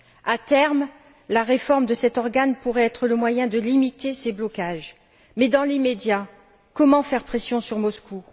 À terme, la réforme de cet organe pourrait être le moyen de limiter ces blocages. Mais dans l'immédiat, comment faire pression sur Moscou?